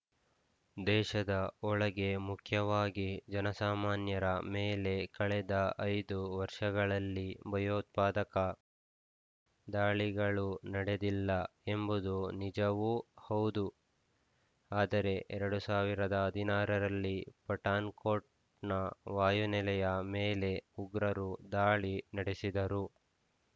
ದೇಶದ ಒಳಗೆ ಮುಖ್ಯವಾಗಿ ಜನಸಾಮಾನ್ಯರ ಮೇಲೆ ಕಳೆದ ಐದು ವರ್ಷಗಳಲ್ಲಿ ಭಯೋತ್ಪಾದಕ ದಾಳಿಗಳು ನಡೆದಿಲ್ಲ ಎಂಬುದು ನಿಜವೂ ಹೌದು ಆದರೆ ಎರಡ್ ಸಾವಿರದ ಹದಿನಾರರಲ್ಲಿ ಪಠಾಣ್‌ಕೋಟ್‌ನ ವಾಯುನೆಲೆಯ ಮೇಲೇ ಉಗ್ರರು ದಾಳಿ ನಡೆಸಿದರು